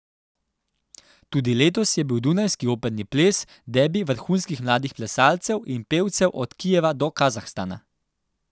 Tudi letos je bil dunajski operni ples debi vrhunskih mladih plesalcev in pevcev od Kijeva do Kazahstana.